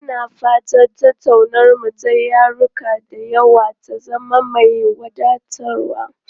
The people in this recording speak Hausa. Ina fata tattaunawarmu ta yaruka da yawa ta zama mai wadatarwa.